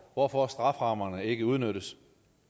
hvorfor strafferammerne ikke udnyttes